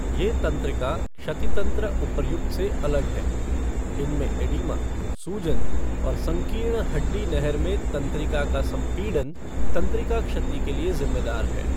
ये तंत्रिका क्षति तंत्र उपर्युक्त से अलग है, इनमे एडिमा सूजन और संकीर्ण हड्डी नहर में तंत्रिका का संपीड़न तंत्रिका क्षति के लिए जिम्मेदार है।